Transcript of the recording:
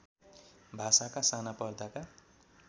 भाषाका साना पर्दाका